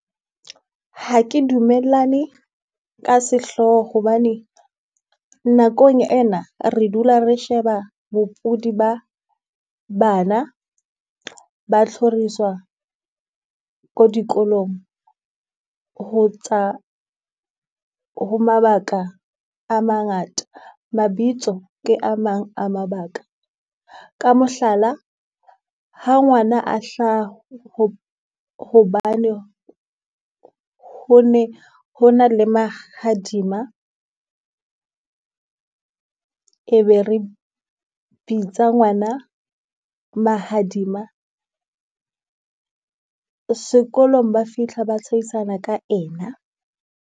Ha ke dumellane ka sehlooho hobane, nakong ena re dula re sheba bopudi ba bana ba tlhoriswa ko dikolong ho tsa ho mabaka a mangata. Mabitso ke a mang a mabaka. Ka mohlala, ha ngwana a hlaha ho hobane ho ne ho na le mahadima. E be re bitsa ngwana Mahadima. Sekolong ba fitlha ba tshehisana ka ena.